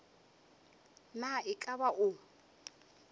na e ka ba o